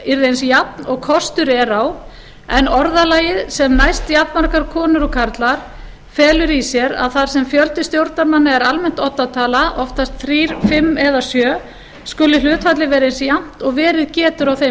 yrði eins jafn og kostur er á en orðalagið sem næst jafnmargar konur og karlar felur í sér að þar sem fjöldi stjórnarmanna er almennt oddatala oftast þrír fimm eða sjö skuli hlutfallið vera eins jafnt og verið getur á þeim